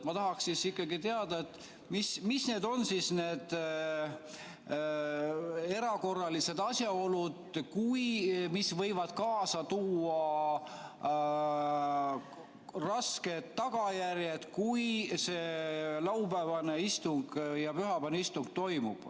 Ma tahaksin ikkagi teada, mis on need erakorralised asjaolud, mis võivad kaasa tuua rasked tagajärjed, kui laupäevane ja pühapäevane istung toimuvad.